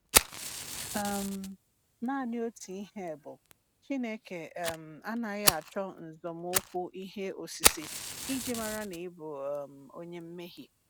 um Naanị otu ihe bụ, Chineke um anaghị acho nzomukwu ihe osise iji mara na ị bụ um onye mmehie.